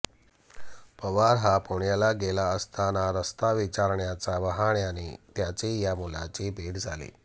पवार हा पुण्याला गेला असताना रस्ता विचारण्याच्या बहाण्याने त्याची या मुलाची भेट झाली